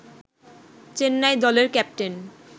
চেন্নাই দলের ক্যাপ্টেন